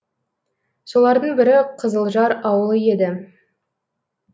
солардың бірі қызылжар ауылы еді